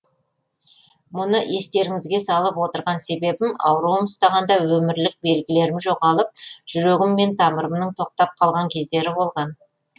мұны естеріңізге салып отырған себебім ауруым ұстағанда өмірлік белгілерім жоғалып жүрегім мен тамырымның тоқтап қалған кездері болған